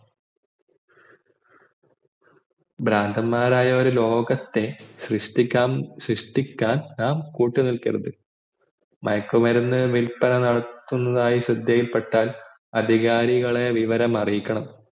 ഭ്രാന്തമായ ഒരു ലോകത്തെ നാം സൃഷ്ടിക്കാം സൃഷ്ടിക്കാൻ കൂട്ടുനിൽക്കരുത് മയക്കുമരുന്ന് വില്പനനടത്തുന്നതായി ശ്രദ്ധയിൽ പെട്ടാൽ അധികാരികളെ വിവരം അരീക്കണം